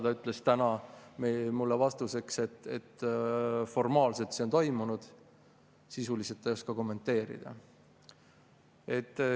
Ta ütles täna mulle vastuseks, et formaalselt on see toimunud, sisuliselt ta ei oska kommenteerida.